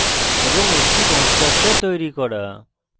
এবং একটি constructor তৈরী করা